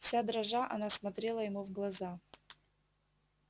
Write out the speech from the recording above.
вся дрожа она смотрела ему в глаза